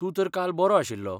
तूं तर काल बरो आशिल्लो .